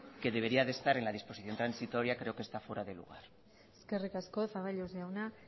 que debería de estar en la disposición transitoria creo que está fuera de lugar eskerrik asko zaballos jauna